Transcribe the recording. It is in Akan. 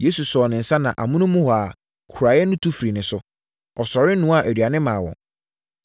Yesu sɔɔ ne nsa na amonom, huraeɛ no tu firii ne so. Ɔsɔre noaa aduane maa wɔn.